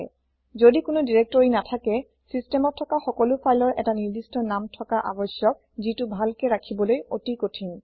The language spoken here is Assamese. যদি কোনো দিৰেক্তৰি নাথাকে চিচতেমত থকা সকলো ফাইলৰ এটা নিৰ্দিস্ত নাম থকা আৱস্যক যিটো ভালকে ৰাখিবলৈ অতি কঠিন